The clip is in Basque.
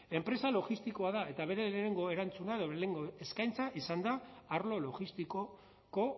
enpresa logistikoa da eta bere lehenengo erantzuna edo lehenengo eskaintza izan da arlo logistikoko